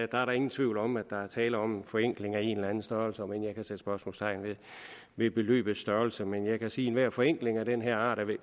der er da ingen tvivl om at der er tale om en forenkling af en eller anden størrelse om end jeg kan sætte spørgsmålstegn ved beløbets størrelse men jeg kan sige at enhver forenkling af den her art